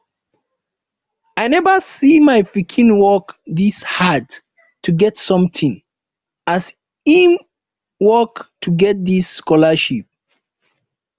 i never see my pikin work dis hard to get something as e work to get dis scholarship